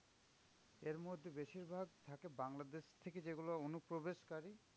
এরমধ্যে বেশিরভাগ থাকে বাংলাদেশ থেকে যেগুলো অনুপ্রবেশকারী